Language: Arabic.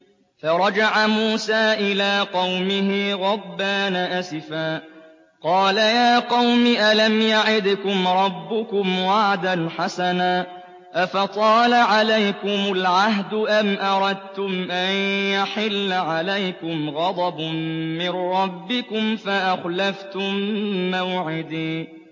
فَرَجَعَ مُوسَىٰ إِلَىٰ قَوْمِهِ غَضْبَانَ أَسِفًا ۚ قَالَ يَا قَوْمِ أَلَمْ يَعِدْكُمْ رَبُّكُمْ وَعْدًا حَسَنًا ۚ أَفَطَالَ عَلَيْكُمُ الْعَهْدُ أَمْ أَرَدتُّمْ أَن يَحِلَّ عَلَيْكُمْ غَضَبٌ مِّن رَّبِّكُمْ فَأَخْلَفْتُم مَّوْعِدِي